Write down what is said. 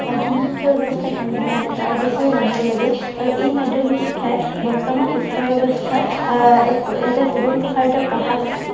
মাধ্য়মিক শিক্ষা ব্য়ৱস্থা কেনেধৰনৰ তাৰ বিষয়ে জানিব লাগে। আৰু এই মাধ্য়মিক শিক্ষাই বৰ্তমান শিক্ষা ব্য়ৱস্থাত আহ এক এটা সুদূৰপ্ৰসাৰী প্ৰভাৱ